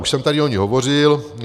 Už jsem tady o ní hovořil.